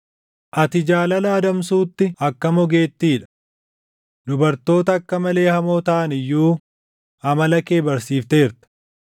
Ati jaalala adamsuutti akkam ogeettii dha! Dubartoota akka malee hamoo taʼan iyyuu amala kee barsiifteerta.